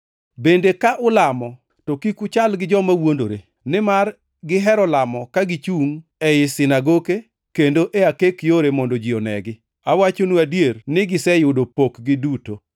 “Bende ka ulamo, to kik uchal gi joma wuondore, nimar gihero lamo ka gichungʼ ei sinagoke, kendo e akek yore mondo ji onegi. Awachonu adier ni giseyudo pokgi duto.